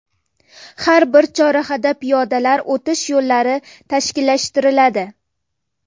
Har bir chorrahada piyodalar o‘tish yo‘llari tashkillashtiriladi.